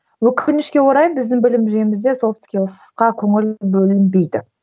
өкінішке орай біздің білім жүйемізде софт скилсқа көңіл бөлінбейді